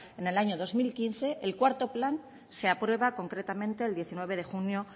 en el año dos mil quince el cuarto plan se aprueba concretamente el diecinueve de junio